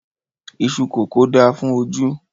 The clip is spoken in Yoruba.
Iṣú kókò da fún ojú